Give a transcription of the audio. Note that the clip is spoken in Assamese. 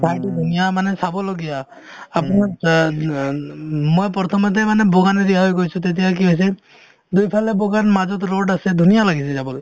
ঠাইতো ধুনীয়া মানে চাবলগীয়া আপোনাৰ অ অ মই প্ৰথমতে মানে গৈছো তেতিয়া কি হৈছে দুয়োফালে মাজত road আছে ধুনীয়া লাগিছে যাবলৈ